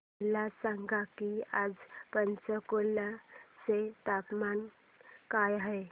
मला सांगा की आज पंचकुला चे तापमान काय आहे